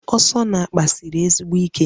Asọ n'akpa siri ezigbo ike